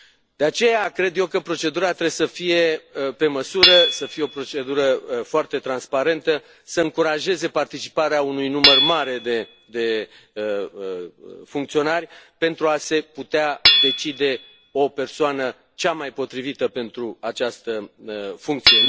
De aceea, cred eu că procedura trebuie să fie pe măsură, să fie o procedură foarte transparentă, să încurajeze participarea unui număr mare de funcționari, pentru a se putea decide o persoană, cea mai potrivită, pentru această funcție.